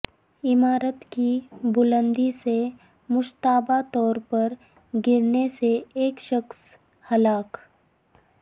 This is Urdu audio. عمارت کی بلندی سے مشتبہ طور پر گرنے سے ایک شخص ہلاک